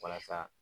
Walasa